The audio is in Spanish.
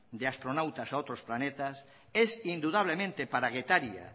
de astronautas a otros planetas es indudablemente para getaria